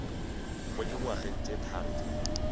mo dingwageng tse tharo tse